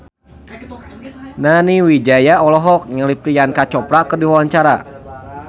Nani Wijaya olohok ningali Priyanka Chopra keur diwawancara